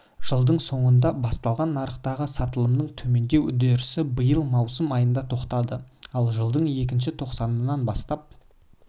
жылдың соңында басталған нарықтағы сатылымның төмендеу үдерісі биыл маусым айында тоқтады ал жылдың екінші тоқсанын бастап